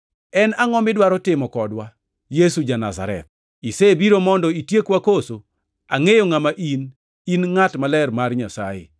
“En angʼo midwaro timo kodwa, Yesu ja-Nazareth? Isebiro mondo itiekwa koso? Angʼeyo ngʼama in, in Ngʼat Maler Mar Nyasaye!”